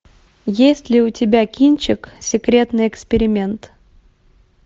есть ли у тебя кинчик секретный эксперимент